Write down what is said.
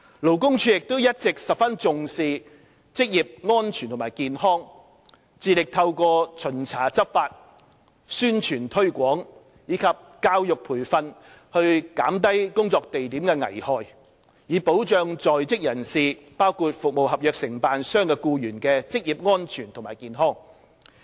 勞工處亦一直十分重視職業安全及健康，致力透過巡查執法、宣傳推廣及教育培訓減低工作地點的危害，以保障在職人士，包括服務合約承辦商的僱員的職業安全及健康。